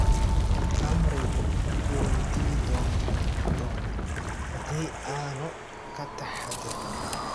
Khamrigu wuu dili doonaa haddii aanu ka taxaddarin.